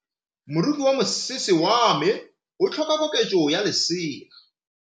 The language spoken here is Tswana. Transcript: Moroki wa mosese wa me o tlhoka koketsô ya lesela.